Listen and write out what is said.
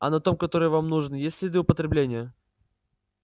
а на том который вам нужен есть следы употребления